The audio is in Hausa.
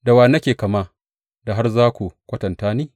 Da wa nake kama da har da za ku kwatanta ni?